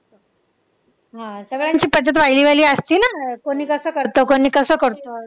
हा सगळ्यांची पद्धत असती ना. कोणी कसं करतं, कोणी कसं करतं.